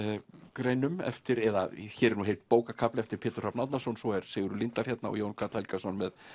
greinum eftir eða hér er heill bókarkafli eftir Pétur Hrafn Árnason og svo er Sigurður Líndal hérna og Jón Karl Helgason með